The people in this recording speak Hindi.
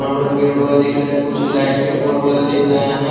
बड़े बड़े पेड़ पौधे दिखरे है कुछ लाइट के पोल वगेरा दिखरे है ।